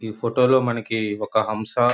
ఈ ఫోటో లో మనకి ఒక హంస--